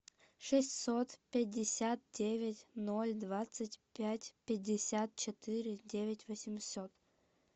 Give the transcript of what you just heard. шестьсот пятьдесят девять ноль двадцать пять пятьдесят четыре девять восемьсот